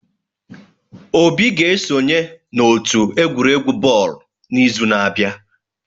Obi ga-esonye n'otu egwuregwu bọọlụ n'izu na-abịa.